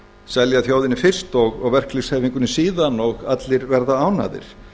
selja þjóðinni fyrst og verkalýðshreyfingunni síðan og allir verða ánægðir